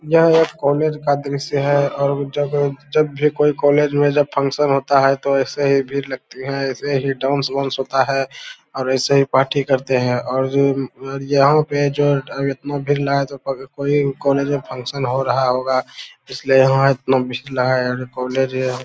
यह एक कॉलेज का दृश्य है और और जब भी कोई कॉलेज में फनशन होता है तो ऐसे ही भीड़ लगती हैं ऐसे ही डांस - बांस होता है और ऐसे ही पाठी करते हैं और यहां पे जो एतनो भीड़ लगा है तो कोई कॉलेज में फनशन हो रहा होगा इसलिए वहां --